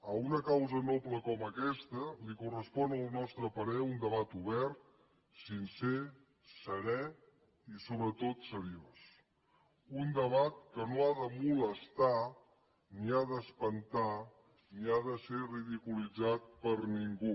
a una causa noble com aquesta li correspon al nostre parer un debat obert sincer serè i sobretot seriós un debat que no ha de molestar ni ha d’espantar ni ha de ser ridiculitzat per ningú